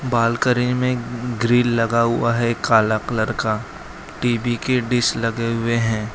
Balcony में grill लगा हुआ है काला कलर का टी_वी के डिश लगे हुए हैं।